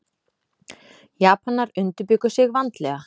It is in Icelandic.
Japanar undirbjuggu sig vandlega.